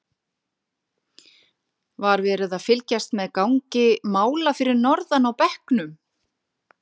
Var verið að fylgjast með gangi mála fyrir norðan á bekknum?